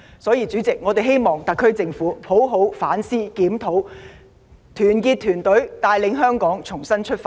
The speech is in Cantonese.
主席，所以我們希望特區政府好好反思和檢討，團結團隊，帶領香港重新出發。